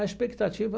A expectativa...